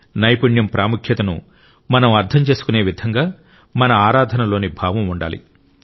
నైపుణ్యం ప్రాముఖ్యతను మనం అర్థం చేసుకునే విధంగా మన ఆరాధన లోని భావం ఉండాలి